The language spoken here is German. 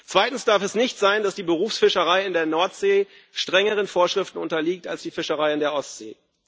Zweitens darf es nicht sein, dass die Berufsfischerei in der Nordsee strengeren Vorschriften unterliegt als die Fischerei in der Ostsee.